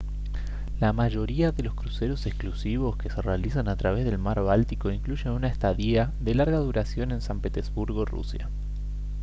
la mayoría de los cruceros exclusivos que se realizan a través del mar báltico incluyen una estadía de larga duración en san petersburgo rusia